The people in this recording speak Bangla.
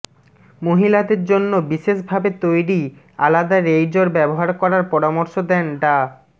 মহিলাদের জন্য বিশেষভাবে তৈরি আলাদা রেইজর ব্যবহার করার পরামর্শ দেন ডা